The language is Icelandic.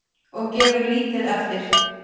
Og gefur lítið eftir.